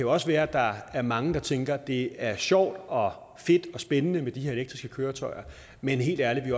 også være at der er mange der tænker det er sjovt og fedt og spændende med de her elektriske køretøjer men helt ærligt vi